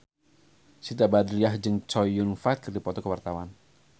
Siti Badriah jeung Chow Yun Fat keur dipoto ku wartawan